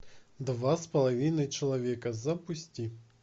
два с половиной человека запусти